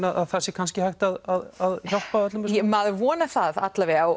að það sé kannski hægt að hjálpa öllum maður vonar það